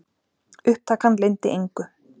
Upptakan leyndi engu.